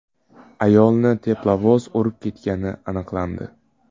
Ayolni teplovoz urib ketgani aniqlandi.